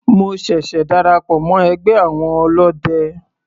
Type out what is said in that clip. Mo ṣẹ̀ṣẹ̀ darapọ̀ mọ́ ẹgbẹ́ àwọn ọlọ́de.